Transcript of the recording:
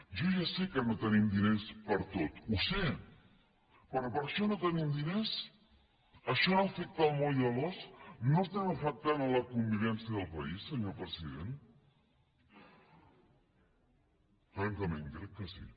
jo ja sé que no tenim diners per a tot ho sé però per a això no tenim diners això no afecta el moll de l’os no estem afectant la convivència del país senyor president francament crec que sí